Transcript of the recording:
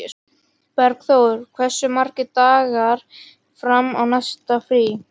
Bergþór, hversu margir dagar fram að næsta fríi?